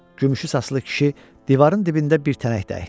Gümüşü saçlı kişi divarın dibində bir tənək də əkdi.